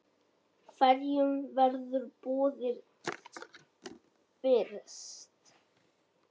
Hverjum verður boðið fyrst?